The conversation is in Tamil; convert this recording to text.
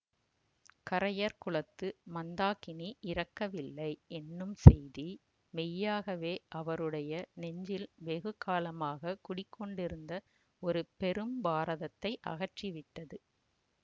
கரையர் குலத்து மந்தாகினி இறக்கவில்லை என்னும் செய்தி மெய்யாகவே அவருடைய நெஞ்சில் வெகு காலமாக குடிகொண்டிருந்த ஒரு பெரும் பாரதத்தை அகற்றிவிட்டது